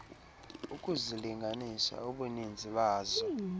ukuzilinganisa ubuninzi bazo